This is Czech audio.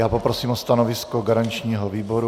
Já poprosím o stanovisko garančního výboru.